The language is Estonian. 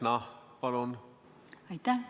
Aitäh!